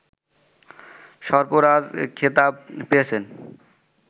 সর্পরাজ খেতাব পেয়েছেন